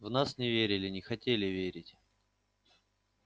в нас не верили не хотели верить